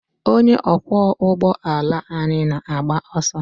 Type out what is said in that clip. Onye ọkwọ ụgbọ ala anyị na-agba ọsọ.